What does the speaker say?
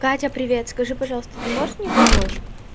катя привет скажи пожалуйста ты можешь мне помочь